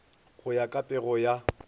go ya ka pego ya